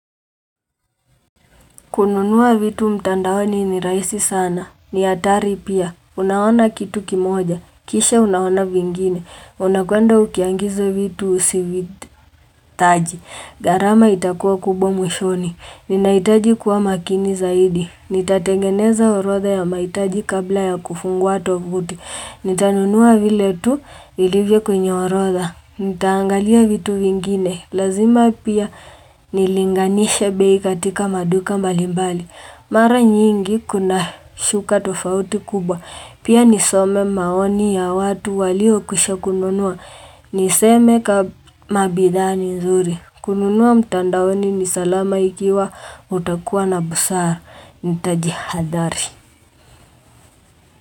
Kununua vitu mtandawani ni raisi sana. Ni hatari pia. Unaona kitu kimoja. Kisha unaona vingine. Unakwenda ukiangiza vitu usivitaji. Garama itakuwa kubwa mwishoni. Ninaitaji kuwa makini zaidi. Nitatengeneza orotha ya maitaji kabla ya kufungwa tofuti Nitanunua vile tu ilivye kwenye orotha Nitaangalia vitu vingine Lazima pia nilinganisha bei katika maduka mbalimbali Mara nyingi kuna shuka tofauti kubwa Pia nisome maoni ya watu walio kusha kununua Niseme ka mabidani nzuri kununua mtandaoni nisalama ikiwa utakuwa na busara ndatadi hadari.